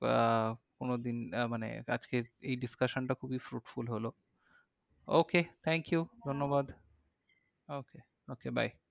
আহ কোনোদিন আহ মানে আজকের এই discussion টা খুবই fruitful হলো। okay thank you ধন্যবাদ। okay okay bye